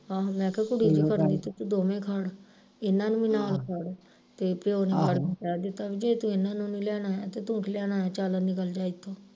ਆਹੋ ਮੈਂ ਕਿਹਾ ਕੁੜੀ ਕਿਉ ਖੜਣੀ ਤੂੰ ਦੋਵੇ ਖੜ ਇਨ੍ਹਾਂ ਨੂੰ ਵੀ ਨਾਲ ਖੜ ਤੇ ਕਹਿ ਦਿੱਤਾ ਬਈ ਜੇ ਤੂੰ ਇਨ੍ਹਾਂ ਨੂੰ ਲੈਣ ਆਇਆ ਤੇ ਤੂੰ ਕੀ ਲੈਣ ਆਇਆ ਚੱਲ ਨਿਕਲ ਜਾ ਇਥੋਂ